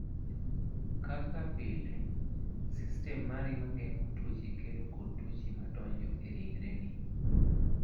Kaka pile, sistem mari mar geng�o tuoche kedo kod tuoche ma donjo e ringreni.